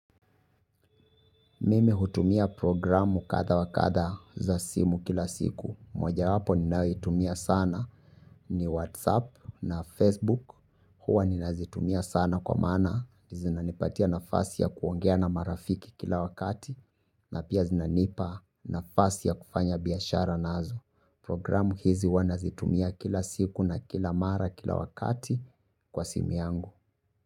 Mimi hutumia programu kadhaa wa kadhaa za simu kila siku. Mojawapo ninayoitumia sana ni Whatsapp na Facebook. Huwa ninazitumia sana kwa mana. Zinanipatia nafasi ya kuongea na marafiki. Na pia zinanipa nafasi ya kufanya biashara nazo. Programu hizi wanazitumia kila siku na kila mara kila wakati kwa simu yangu.